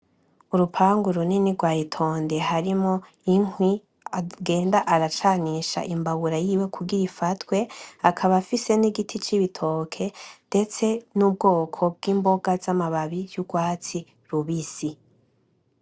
Urupangu runini rwa etendi harimwo inkwi agenda aracanisha imbabura yiwe kugira ifatwe, akaba afise n'igiti c'ibitoke ndetse n'ubwoko bw'imboga za mababi y'urwatsi rubisi